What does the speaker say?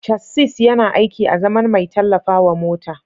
Chassis yana aiki azaman mai tallafawa mota.